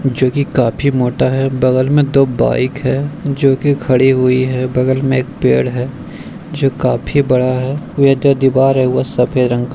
जो की काफी मोटा है। बगल में दो बाइक है जो की खड़ी हुई है। बगल में एक पेड़ है जो काफी बड़ा है। वे जो दिवार है वो सफ़ेद रंग का --